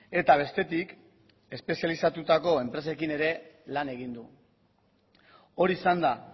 eta bestetik espezializatutako enpresekin ere lan egin du hori izan da